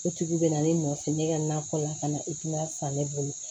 O tigi bɛ na ne nɔfɛ ne ka nakɔ la ka na i tun bɛ san ne bolo